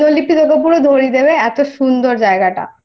মানে দিনলিপি তোকে পুরো ধরিয়ে দেবে এতো সুন্দর জায়গাটা